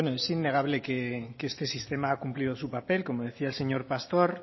bueno es innegable que este sistema ha cumplido su papel como decía el señor pastor